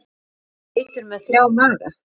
Eru geitur með þrjá maga?